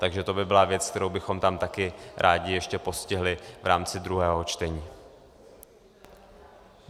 Takže to by byla věc, kterou bychom tam taky rádi ještě postihli v rámci druhého čtení.